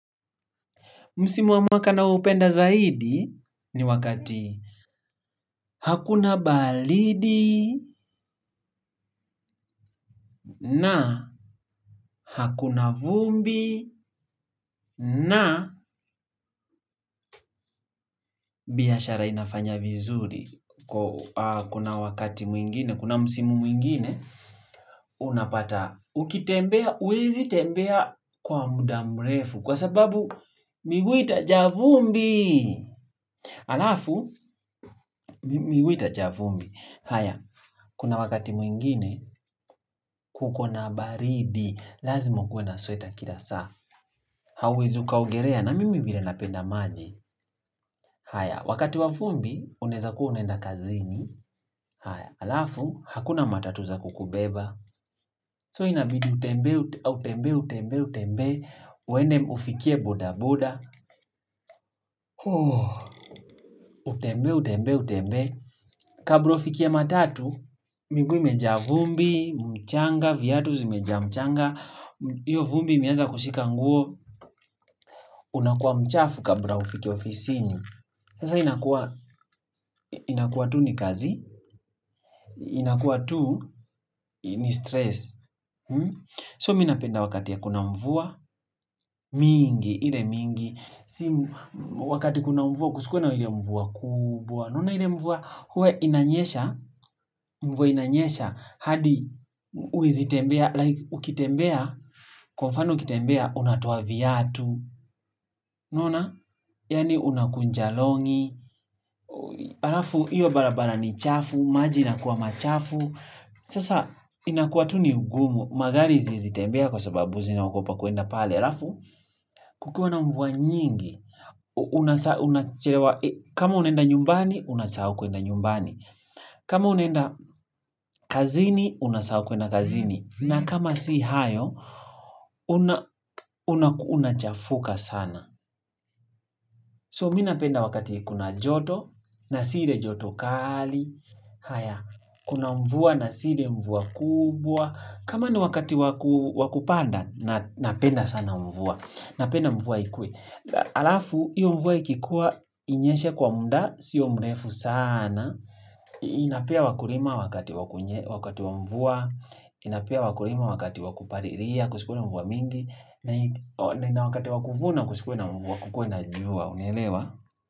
Msimu wa mwaka nao upenda zaidi ni wakati hakuna baridi na hakuna vumbi na biashara inafanya vizuri. Kuna wakati mwingine, kuna Msimu mwingine, unapata ukitembea, huwezi tembea kwa muda mrefu. Kwa sababu, miguu itajaa vumbi. Alafu, miguu itajaa vumbi. Haya, kuna wakati mwingine, kuko na baridi, lazima ukuwe na sweta kila saa Hauwezi uka ogelea na mimi vile napenda maji haya, wakati wa vumbi, unaeza kuwa unaenda kazini haya, alafu, hakuna matatu za kukubeba So inabidi, utembee, utembee, utembee, utembee uende ufikie boda boda Utembee, utembee, utembee Kabla ufikie matatu, miguu imejaa vumbi, mchanga, viatu zimejaa mchanga Iyo vumbi imeanza kushika nguo Unakuwa mchafu kabla ufike ofisini Sasa inakuwa inakuwa tu ni kazi inakuwa tu ni stress So mi napenda wakati hakuna mvua mingi, ile mingi Si wakati kuna mvua Kusikuwe na ile mvua kubwa unaona ile mvua huwa inanyesha mvua inanyesha hadi huwezitembea like Ukitembea Kwa mfano ukitembea unatoa viatu unaona Yaani unakunja longi Alafu iyo barabara ni chafu maji inakuwa machafu Sasa inakuwa tu ni ugumu magari haziezi tembea kwa sababu zinaogopa kuenda pale Alafu kukiwa na mvua nyingi kama unaenda nyumbani Unasahau kuenda nyumbani kama unaenda kazini Unasahau kuenda kazini na kama si hayo Unachafuka sana So mi napenda wakati kuna joto na si ile joto kali haya, kuna mvua na si ile mvua kubwa kama ni wakati wa wa kupanda napenda sana mvua napenda mvua ikuwe alafu, hiyo mvua ikikua inyeshe kwa muda sio mrefu saana inapea wakulima wakati wakunye wakati wa mvua inapea wakulima wakati wa kupalilia kusikuwe na mvua mingi na wakati wa kuvuna kusikuwe na mvua kukuwe na jua unaelewa.